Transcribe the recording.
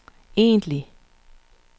egentlige